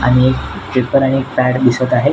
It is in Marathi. आणि एक पेपर आणि पॅड दिसत आहे.